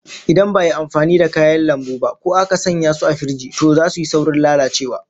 Idan ba'a yi amfani da kayan lambu ba ko aka sanya su a firiji, to zasu yi saurin lalacewa